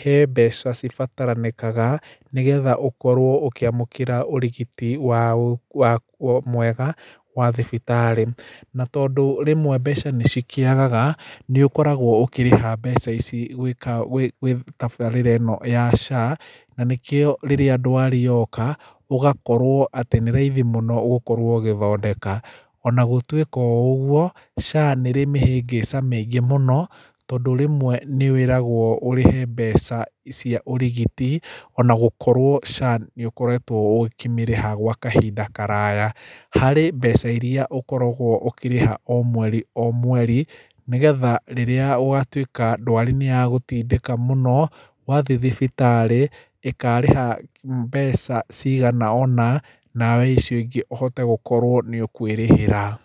he mbeca cibataranĩkaga, nĩgetha ũkorwo ũkĩamũkĩra ũrigiti wa wa mwega wa thibitarĩ. Na tondũ rĩmwe mbeca nĩ cikĩagaga, nĩ ũkoragwo ũkĩrĩha mbeca ici gwĩka gwĩ gwĩ tabaarĩra ĩno ya SHA, na nĩkĩo rĩrĩa ndwari yoka, ũgakorwo atĩ nĩ raithi mũno gũkorwo ũgĩthondeka. Ona gũtuĩkao ũguo, SHA nĩ ĩrĩ mĩhĩngĩca mĩingĩ mũno, tondũ rĩmwe nĩ wĩragwo ũrĩhe mbeca cia ũrigiti, ona gũkorwo SHA nĩ ũkoretwo ũkĩmĩrĩha gwa kahinda karaaya. Harĩ mbeca irĩa ũkoragwo ũkĩrĩha o mweri o mweri, nĩgetha rĩrĩa ũgatuĩka ndwari nĩ yagũtindĩka mũno, wathi thibitarĩ, ĩkarĩha mbeca cigana ũna, nawe icio ingĩ ũhote gũkorwo nĩ ũkũĩrĩhĩra.